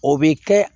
O bɛ kɛ